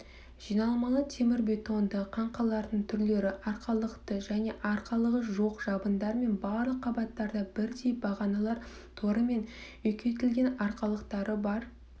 жиналмалы темірбетонды қаңқалардың түрлері арқалықты және арқалығы жоқ жабындармен барлық қабаттарда бірдей бағаналар торымен үлкейтілген аралықтары бар